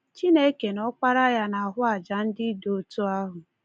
Chineke na Ọkpara ya na-ahụ àjà ndị dị otu ahụ.